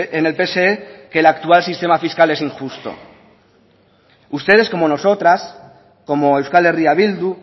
en el pse que la actual sistema fiscal es injusto ustedes como nosotras como euskal herria bildu